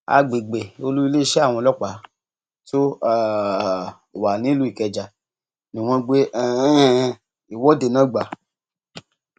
àgbègbè olú iléeṣẹ àwọn ọlọpàá tó um wà nílùú ikeja ni wọn gbé um ìwọde náà gbà